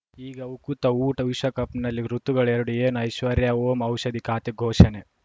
ಈಗ ಉಕುತ ಊಟ ವಿಶ್ವಕಪ್‌ನಲ್ಲಿ ಋತುಗಳು ಎರಡು ಏನು ಐಶ್ವರ್ಯಾ ಓಂ ಔಷಧಿ ಖಾತೆ ಘೋಷಣೆ